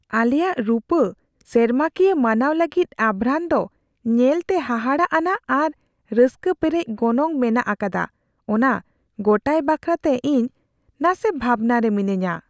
ᱟᱞᱮᱭᱟᱜ ᱨᱩᱯᱟᱹ ᱥᱮᱨᱢᱟ ᱠᱤᱭᱟᱹ ᱢᱟᱱᱟᱣ ᱞᱟᱹᱜᱤᱫ ᱟᱵᱷᱨᱟᱱ ᱫᱚ ᱧᱮᱞᱛᱮ ᱦᱟᱦᱟᱲᱟᱜ ᱟᱱᱟᱜ ᱟᱨ ᱨᱟᱹᱥᱠᱟᱹ ᱯᱮᱨᱮᱡ ᱜᱚᱱᱚᱝ ᱢᱮᱱᱟᱜ ᱟᱠᱟᱫᱟ ᱚᱱᱟ ᱜᱚᱴᱟᱭ ᱵᱟᱠᱷᱨᱟᱛᱮ ᱤᱧ ᱱᱟᱥᱮ ᱵᱷᱟᱵᱽᱱᱟ ᱨᱮ ᱢᱤᱱᱟᱹᱧᱟ ᱾